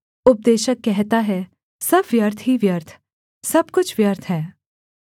उपदेशक कहता है सब व्यर्थ ही व्यर्थ सब कुछ व्यर्थ है